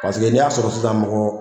Paseke n'i y'a sɔrɔ sisan mɔgɔ